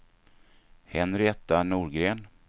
Henrietta Norgren